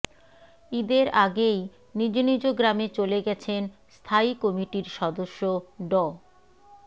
ঈদের আগেই নিজ নিজ গ্রামে চলে গেছেন স্থায়ী কমিটির সদস্য ড